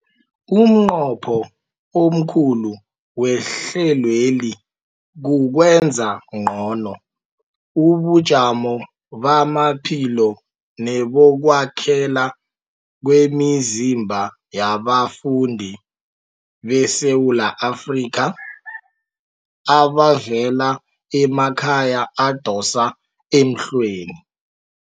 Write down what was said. Umnqopho omkhulu wehlelweli kukwenza ngcono ubujamo bamaphilo nebokwakhela kwemizimba yabafundi beSewula Afrika abavela emakhaya adosa emhlweni.